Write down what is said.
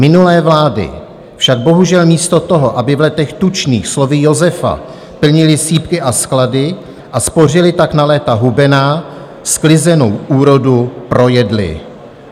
Minulé vlády však bohužel místo toho, aby v letech tučných slovy Josefa plnily sýpky a sklady a spořily tak na léta hubená, sklizenou úrodu projedly.